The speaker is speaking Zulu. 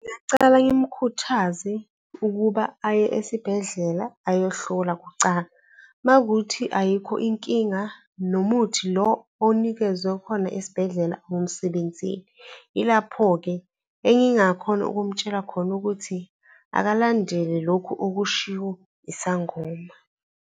Ngingacala ngimkhuthaze ukuba aye esibhedlela ayohlolwa kucala. Uma wukuthi ayikho inkinga nomuthi lo onikezwe khona esibhedlela awumsebenzeli. Yilapho-ke engingamtshela khona ukuthi akalandele lokhu okushiwo isangoma.